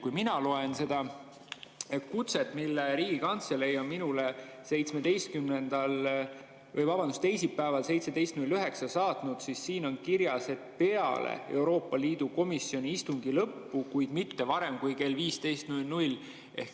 Kui mina loen seda kutset, mille Riigikantselei on minule teisipäeval kell 17.09 saatnud, siis näen, et siin on kirjas, et peale Euroopa Liidu komisjoni istungi lõppu, kuid mitte varem kui kell 15.00.